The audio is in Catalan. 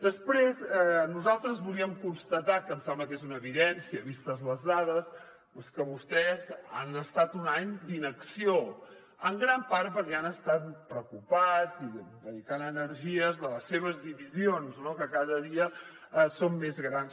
després nosaltres volíem constatar que em sembla que és una evidència vistes les dades que vostès han estat un any d’inacció en gran part perquè han estat preocupats i dedicant energies a les seves divisions que cada dia són més grans